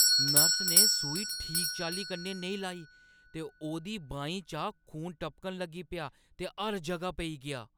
Nurse ने सूई गी ठीक चाल्ली कन्नै नेईं लाई ते ओह्दी‌ बाहीं चा खून टपकन लगी पेआ ते हर जगह पेई गेआ।